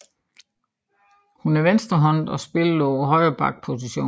Hun er venstrehåndet og spillede på højre back position